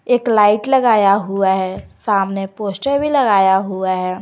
एक लाइट लगाया हुआ है सामने पोस्टर भी लगाया हुआ है।